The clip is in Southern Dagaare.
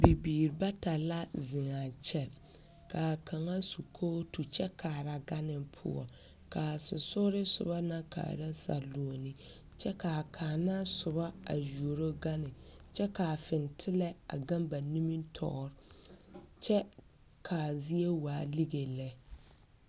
Bibiiri bata la zeŋ a kyɛ ka a kaŋa su kootu kyɛ kaara gane poɔ ka a sensoglensoba kaara saluoni kyɛ ka a kaŋ na soba yuoro gane kyɛ ka a fintelɛ a gaŋ ba nimitɔɔre kyɛ ka a zie lige lɛ.